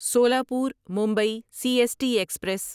Solapur Mumbai C S T express